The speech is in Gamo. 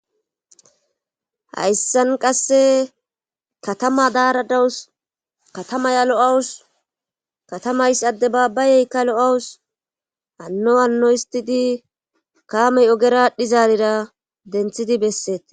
hayssan qasse katama daaradawus katamaya lo7awus katamays adde baabbayeykka lo7awus hanno hanno histidi kaamey ogera alidhizaarira denthidi besseete